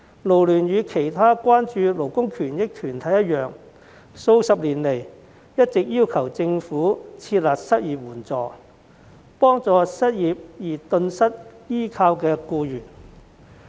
勞聯與其他關注勞工權益的團體一樣，數十年來一直要求政府設立失業援助金，幫助因失業而頓失依靠的僱員。